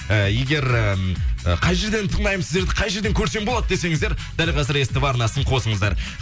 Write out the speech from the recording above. э егер ым қай жерден тыңдаймыз сіздерді қай жерден көрсем болады десеніздер дәл қазір ств арнасын қосыныздар